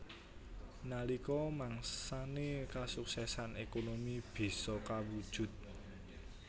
Nalika mangsané kasuksesan ékonomi bisa kawujud